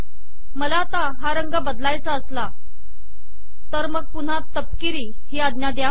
मला हा रंग बदलायचा असला तर मग पुन्हा तपकिरी ही आज्ञा द्या